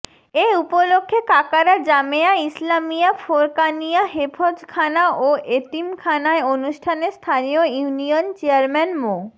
এ উপলক্ষে কাকারা জামেয়া ইসলামীয়া ফোরকানিয়া হেফজ্খানা ও এতিমখানায় অনুষ্ঠানে স্থানীয় ইউনিয়ন চেয়ারম্যান মো